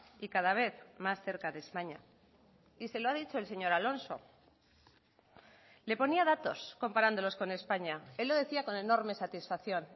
y cada vez más cerca de españa y se lo ha dicho el señor alonso le ponía datos comparándolos con españa él lo decía con enorme satisfacción